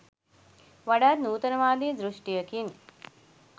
වඩාත් නූතනවාදී දෘෂ්ටියකින්.